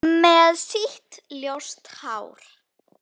Með sítt, ljóst hár.